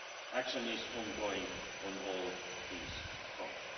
Action is ongoing on all these fronts.